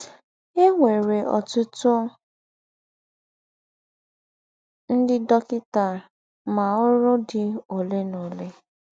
È nwèrè ọ́tùtù ńdị́ dọ́kịtà, mà ọ́rụ́ dì ólè na ólè.